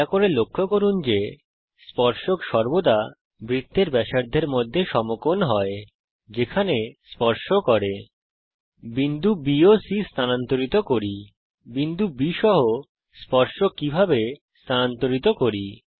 দয়া করে লক্ষ্য করুন যে স্পর্শক সর্বদা বৃত্তের ব্যাসার্ধের মধ্যে সমকোণ হয় যেখানে স্পর্শ করে বিন্দু B ও C কে স্থানান্তরিত করি বিন্দু B সহ স্পর্শক কীভাবে স্থানান্তরিত করি